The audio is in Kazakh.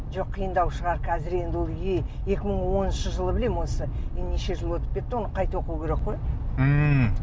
жоқ қиындау шығар қазір енді ол екі мың оныншы жылы білемін осы енді неше жыл өтіп кетті оны қайта оқу керек қой ммм